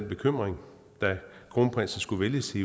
bekymring da kronprinsen skulle vælges i